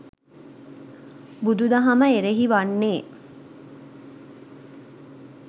බුදුදහම එරෙහි වන්නේ